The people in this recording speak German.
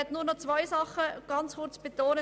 Ich möchte nur noch zwei Dinge ganz kurz betonen.